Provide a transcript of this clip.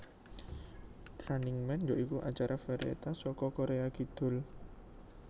Running Man ya iku acara varietas saka Korea Kidul